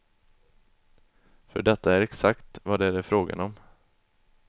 För detta är exakt vad det är frågan om.